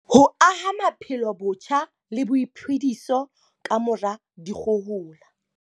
Ho aha maphelo botjha le boiphediso kamora dikgohola.